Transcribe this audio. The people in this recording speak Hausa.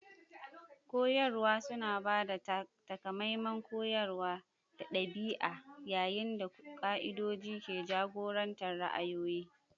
Koyarwa suna ba da takamaiman koyarwa da ɗabi'a, yayin da ƙa'idodin ke jagorantar ra'ayoyi.